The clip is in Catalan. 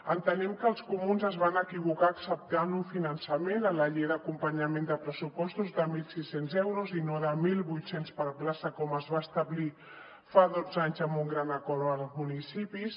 entenem que els comuns es van equivocar acceptant un finançament a la llei d’acompanyament de pressupostos de mil sis cents euros i no de mil vuit cents per plaça com es va establir fa dotze anys amb un gran acord amb els municipis